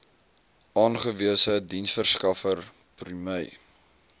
aangewese diensverskaffer prime